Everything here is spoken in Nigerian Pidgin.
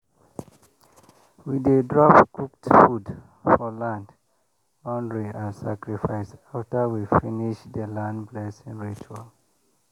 we dey drop cooked food for land boundary as sacrifice after we finish the land blessing ritual.